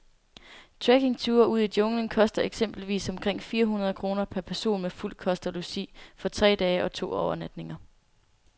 Trekkingture ud i junglen koster eksempelvis omkring fire hundrede kroner per person med fuld kost og logi for tre dage og to overnatninger.